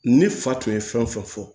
Ne fa tun ye fɛn fɛn fɔ